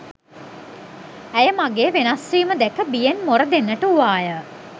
ඇය මගේ වෙනස්වීම දැක බියෙන් මොර දෙන්නට වූවාය